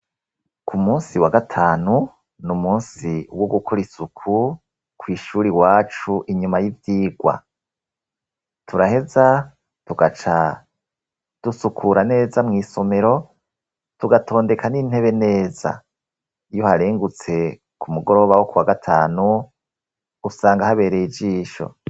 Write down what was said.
ku munsi wa gatanu, ni umunsi wo gukora isuku, ku ishuri iwacu inyuma y'ivyigwa. turaheza tugaca dusukura neza mu isomero, tugatondeka n'intebe neza. iyo uharengutse ku mugoroba wo ku wa gatanu, usanga habereye ijisho.